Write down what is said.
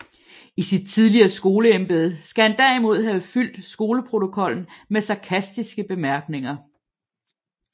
I sit tidligere skoleembede skal han derimod have fyldt skoleprotokollen med sarkastiske bemærkninger